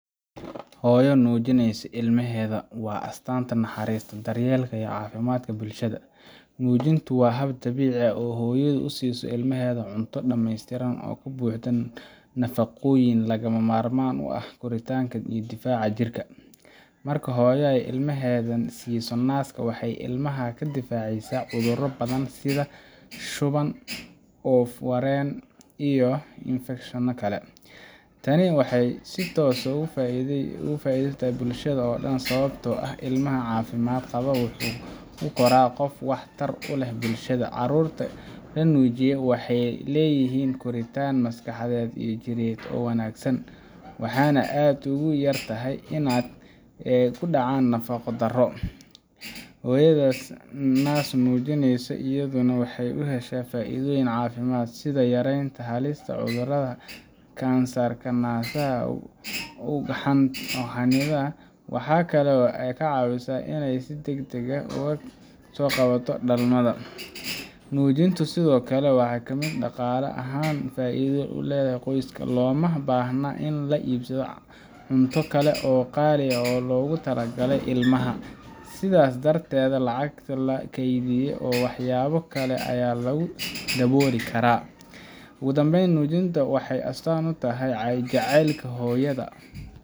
Hooyo nuujinaysa ilmaheeda waa astaanta naxariista, daryeelka iyo caafimaadka bulshada. Nuujinta waa hab dabiici ah oo hooyadu ku siiso ilmaheeda cunto dhamaystiran oo ka buuxda nafaqooyinka lagama maarmaanka u ah koritaanka iyo difaaca jirka. Marka hooyo ay ilmaheeda siiso naaska, waxay ilmaha ka difaacaysaa cuduro badan sida shuban, oof-wareen, iyo infekshano kale. Tani waxay si toos ah faa'iido ugu tahay bulshada oo dhan, sababtoo ah ilmihii caafimaad qaba wuxuu u koraa qof wax tar u leh bulshada. Carruurta la nuujiyo waxay leeyihiin koritaan maskaxeed iyo jireed oo wanaagsan, waxayna aad ugu yartahay inay ku dhacaan nafaqo-darro. Hooyada naas nuujisa iyaduna waxay ka heshaa faa’iidooyin caafimaad, sida yareynta halista cudurrada kansarka naasaha iyo ugxansidaha. Waxa kale oo ay ka caawisaa inay si degdeg ah uga soo kabato dhalmada. Nuujintu sidoo kale waa mid dhaqaale ahaan faa'iido u leh qoyska. Looma baahna in la iibsado cunto kale oo qaali ah oo loogu talagalay ilmaha, sidaas darteedna lacag baa la kaydiyaa oo waxyaabo kale ayaa lagu dabooli karaa. Ugu dambeyn, nuujintu waxay astaan u tahay jacaylka hooyada